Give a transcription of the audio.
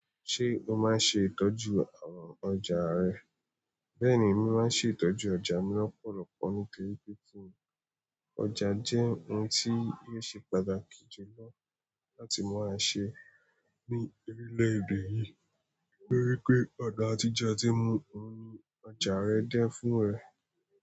Ṣé o máa ń ṣe ìtọ́jú àwọn ọjà rẹ? Bẹ́ẹ̀ ni, mo máa ń ṣe ìtọ́jú ọjà mi lọ́pọ̀lọpọ̀ ní torípé kínní. Ọjà jẹ́ ohun tí óò ṣe pàtàkì jùlọ láti máà ṣẹ ní orí lédè yi. Torí pé ọ̀nà àtijẹ tí mú ọrùn ọjà rẹ jẹ́ fún ẹ.